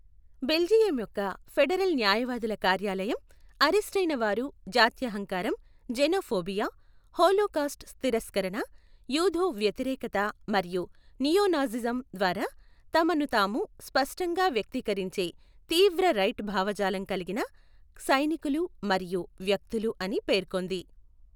Belgium యొక్క federal న్యాయవాదుల కార్యాలయం, అరెస్టయిన వారు జాత్యహంకారం, జెనోఫోబియా, హోలోకాస్ట్ తిరస్కరణ, యూదు వ్యతిరేకత మరియు నియో నాజిజం ద్వారా తమను తాము స్పష్టంగా వ్యక్తీకరించే తీవ్ర రైట్ భావజాలం కలిగిన సైనికులు మరియు వ్యక్తులు అని పేర్కొంది.